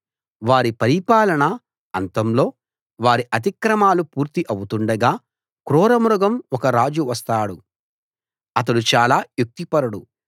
వారి పరిపాలన అంతంలో వారి అతిక్రమాలు పూర్తి ఆవుతుండగా క్రూరముఖం ఒక రాజు వస్తాడు అతడు చాలా యుక్తిపరుడు